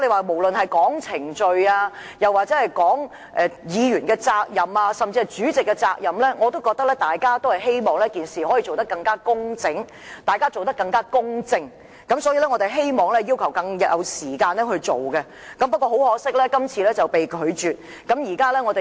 無論是從程序、議員責任或主席責任的角度而言，大家都希望可以更工整和公正地辦事，所以我們要求有更多時間處理，但很可惜，我們的要求被你拒絕了。